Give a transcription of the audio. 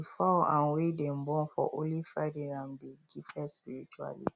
the fowl um wey dey born for only friday um dey gifted spiritually